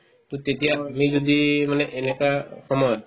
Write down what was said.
to তেতিয়া আমি যদি মানে এনেকুৱা সময়ত